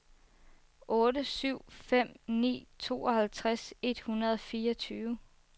otte syv fem ni tooghalvtreds et hundrede og fireogtyve